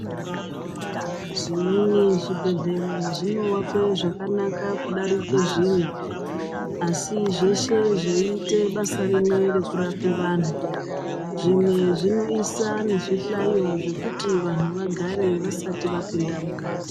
Zvimweni zvibhedhlera zvinoakwa kudarika zvimwe asi zveshe zvoite basa rimwe yekurapa vantu zvimwe zvinoisa nezvihlayo zvekuti vantu vagare vasati vapinda mukati.